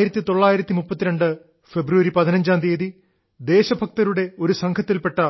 15 ഫെബ്രുവരി 1932 ൽ ദേശഭക്തരുടെ ഒരു സംഘത്തിൽപ്പെട്ട